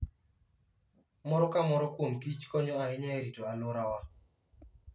Moro ka moro kuom kich konyo ahinya e rito alworawa.